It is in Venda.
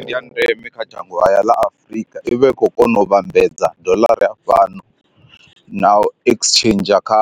Ndi ya ndeme kha dzhango haya ḽa Afrika ivha i kho kona u vhambedza dollara ya fhano na exchange kha